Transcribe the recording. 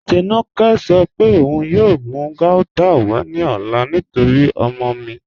Tínúkẹ̀ sọ̀ pé ọun yóò mú gauta wà ní ọ̀là nítorí ọ̀mọ mi.